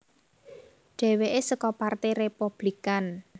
Dhèwèké saka Partai Républikan